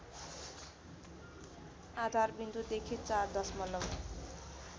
आधारविन्दुदेखि ४ दशमलव